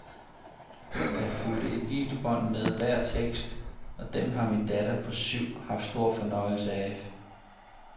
Der fulgte et videobånd med hver tekst, og dem har min datter på syv haft stor fornøjelse af.